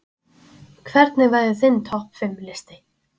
Hvernig væri þinn topp fimm listi?